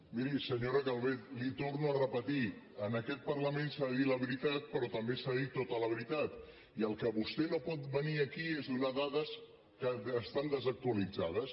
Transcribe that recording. mi·ri senyora calvet li ho torno a repetir en aquest par·lament s’ha de dir la veritat però també s’ha de dir to·ta la veritat i el que vostè no pot venir aquí és a donar dades que estan desactualitzades